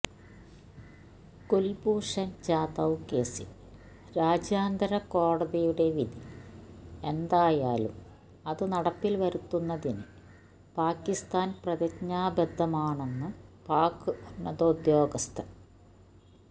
കുൽഭൂഷൺ ജാദവ് കേസിൽ രാജ്യാന്തര കോടതിയുടെ വിധി എന്തായാലും അതു നടപ്പിൽ വരുത്തുന്നതിനു പാക്കിസ്ഥാൻ പ്രതിജ്ഞാബദ്ധമാണെന്നു പാക്ക് ഉന്നതോദ്യോഗസ്ഥൻ